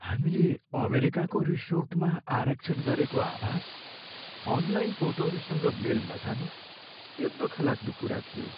हामीले अमेरिकाको रिसोर्टमा आरक्षण गरेको आवास अनलाइन फोटोहरूसँग मेल नखानु यो दुःखलाग्दो कुरा थियो।